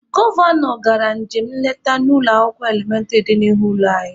Gọvanọ gara njem nleta n'ụlọ akwụkwọ elementịrị dị n'ihu ụlọ anyị.